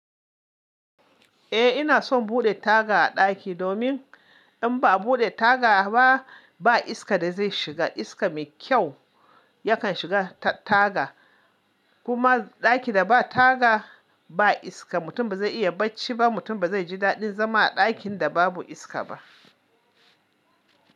Eh ina son buɗe taga a ɗaki domin in ba a buɗe taga ba, ba iska da zai shiga iska mai kyau yakan shiga ta taga. Kuma ɗaki da ba taga ba iska mutum ba zai iya bacci ba, mutum ba zai ji daɗin zama a ɗakin da babu iska ba.